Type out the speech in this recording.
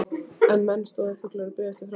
En menn stóðu þöglir og biðu eftir framhaldinu.